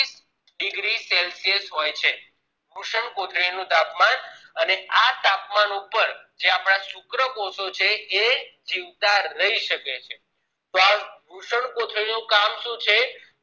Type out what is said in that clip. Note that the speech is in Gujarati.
Degree ઓછુ હોય છે વૃષ્ણકોથળી નું તાપમાન અને આ તાપમાન ઉપર જે આપના શુક્રકોષો છે એ જીવતા રહી શકે છે તો આ વૃષ્ણકોથળી નું કામ શું હોય છે